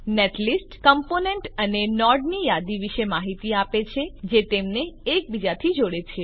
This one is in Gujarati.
નેટલિસ્ટ કમ્પોનેન્ટ અને નોડની યાદી વિશે માહિતી આપે છે જે તેમને એકબીજાથી જોડે છે